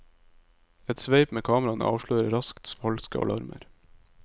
Et sveip med kameraene avslører raskt falske alarmer.